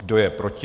Kdo je proti?